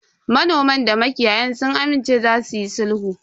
Manoman da makiyayan sun amince za suyi sulhu.